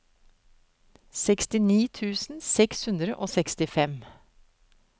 sekstini tusen seks hundre og sekstifem